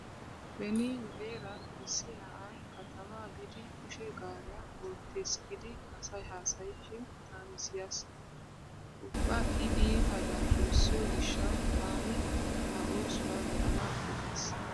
Beni nu heeran issi na'ay katamaa biidi kushe gaariya oottees giidi asay haasayishin taani siyaas. Ubba i iita daafurssiyo gishshawu taani a oosuwa be'anaappe gays.